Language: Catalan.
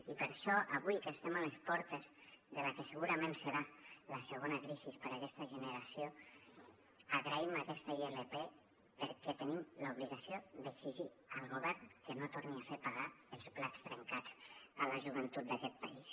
i per això avui que estem a les portes de la que segurament serà la segona crisi per a aquesta generació agraïm aquesta ilp perquè tenim l’obligació d’exigir al govern que no torni a fer pagar els plats trencats a la joventut d’aquest país